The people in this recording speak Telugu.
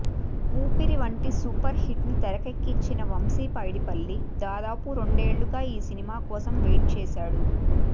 ఊపిరి వంటి సూపర్ హిట్ ను తెరకెక్కించిన వంశీపైడిపల్లి దాదాపు రెండేళ్లుగా ఈ సినిమా కోసం వెయిట్ చేశాడు